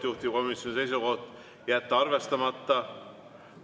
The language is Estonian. Juhtivkomisjoni seisukoht on jätta arvestamata.